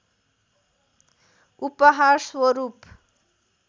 उपहार स्वरूप